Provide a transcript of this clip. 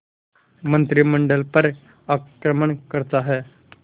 मंत्रिमंडल पर आक्रमण करता है